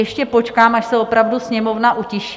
Ještě počkám, až se opravdu Sněmovna utiší.